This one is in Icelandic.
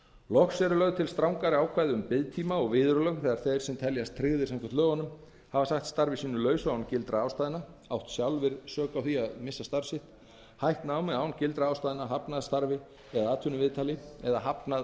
loks eru lögð til strangari ákvæði um biðtíma og viðurlög þegar þeir sem teljast tryggðir samkvæmt lögunum hafa sagt starfi sínu lausu án gildra ástæðna átt sjálfir sök á því að missa starf sitt hætt námi án gildra ástæðna hafnað starfi eða atvinnuviðtali eða hafnað